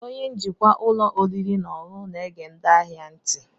Onye njikwa ụlọ oriri na ọṅụṅụ na-ege ndị ahịa ntị.